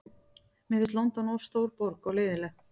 Mér finnst London of stór borg og leiðinleg.